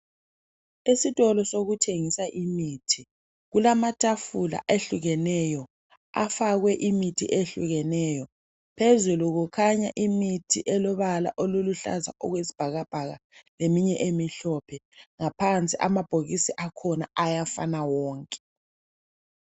Esitolo sokuthengisa imithi kulamatafula ehlukeneyo afakwe imithi ehlukeneyo. Phezulu kukhanya imithi elobala oluluhlaza okwesibhakabhaka leminye emihlophe ngaphansi amabhokisi akhona ayafana wonke.